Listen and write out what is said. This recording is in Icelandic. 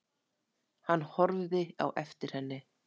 Hann horfði á eftir henni.